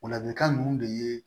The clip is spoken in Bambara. O ladilikan ninnu de ye